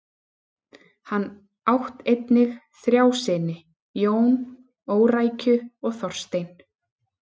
Hann átt einnig þrjá syni: Jón, Órækju og Þorstein.